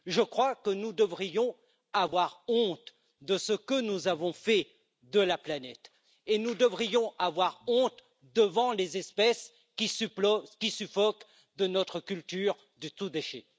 Je crois que nous devrions avoir honte de ce que nous avons fait de la planète et nous devrions avoir honte devant les espèces qui suffoquent de notre culture du tout déchet.